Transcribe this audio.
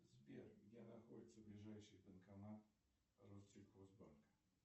сбер где находится ближайший банкомат россельхозбанка